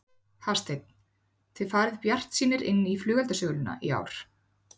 Hafsteinn: Þið farið bara bjartsýnir inn í flugeldasöluna í ár?